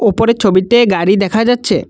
উপরের ছবিতে গাড়ি দেখা যাচ্ছে।